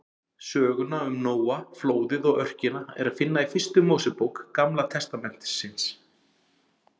Söguna um Nóa, flóðið og örkina er að finna í fyrstu Mósebók Gamla testamentisins.